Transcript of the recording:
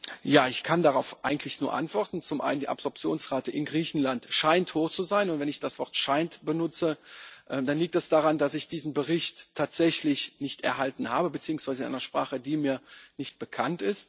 Ich kann darauf eigentlich nur antworten Zum einen scheint die Absorptionsrate in Griechenland hoch zu sein, und wenn ich das Wort scheint benutze, dann liegt das daran, dass ich diesen Bericht tatsächlich nicht erhalten habe, beziehungsweise in einer Sprache, die mir nicht bekannt ist.